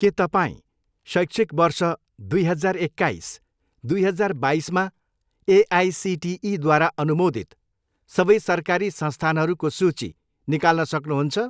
के तपाईँँ शैक्षिक वर्ष दुई हजार एक्काइस, दुई हजार बाइसमा एआइसिटिईद्वारा अनुमोदित सबै सरकारी संस्थानहरूको सूची निकाल्न सक्नुहुन्छ?